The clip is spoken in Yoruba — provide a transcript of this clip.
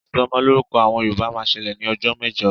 Ìsọmọlọ́rúkọ àwọn Yorùbá máa ń ṣẹlẹ̀ ní ọjọ́ mẹ́jọ